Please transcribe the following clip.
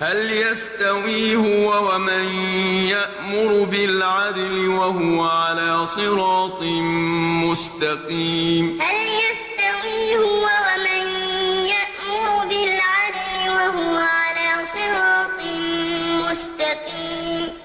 ۖ هَلْ يَسْتَوِي هُوَ وَمَن يَأْمُرُ بِالْعَدْلِ ۙ وَهُوَ عَلَىٰ صِرَاطٍ مُّسْتَقِيمٍ وَضَرَبَ اللَّهُ مَثَلًا رَّجُلَيْنِ أَحَدُهُمَا أَبْكَمُ لَا يَقْدِرُ عَلَىٰ شَيْءٍ وَهُوَ كَلٌّ عَلَىٰ مَوْلَاهُ أَيْنَمَا يُوَجِّههُّ لَا يَأْتِ بِخَيْرٍ ۖ هَلْ يَسْتَوِي هُوَ وَمَن يَأْمُرُ بِالْعَدْلِ ۙ وَهُوَ عَلَىٰ صِرَاطٍ مُّسْتَقِيمٍ